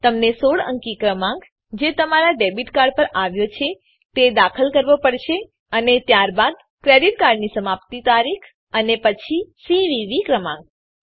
તમને ૧૬ અંકી ક્રમાંક જે તમારા ડેબીટ કાર્ડ પર આવ્યો છે તે દાખલ કરવો પડશે અને ત્યારબાદ ક્રેડીટ કાર્ડની સમાપ્તિ તારીખ અને પછી સીવીવી ક્રમાંક